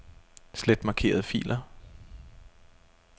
Slet markerede filer.